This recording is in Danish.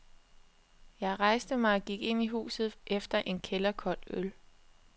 Jeg rejste mig og gik ind i huset efter en kælderkold øl.